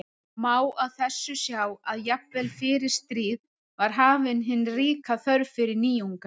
Má á þessu sjá að jafnvel fyrir stríð var hafin hin ríka þörf fyrir nýjungar.